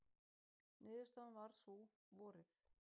Niðurstaðan varð sú, vorið